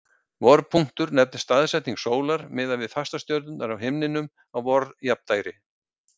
vorpunktur nefnist staðsetning sólar miðað við fastastjörnur á himninum á vorjafndægri